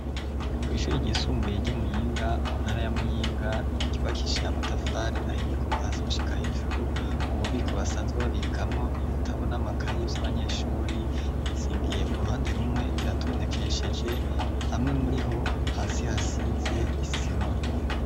Kw'ishuri ryisumbuye ry'imuyinga mu ntara ya muyinga rubakishiye amatafari ahiye kuva hasi gushika hejuru, ububiko basanzwe babikamwo ibitabo n'amakayi vy'abanyeshuri bizingiye uruhande rumwe biratondekesheje hamwe muri ho hasi hasize isima.